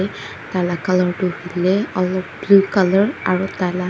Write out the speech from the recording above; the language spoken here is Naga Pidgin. taila colour du huileh aro blue colour aro taila--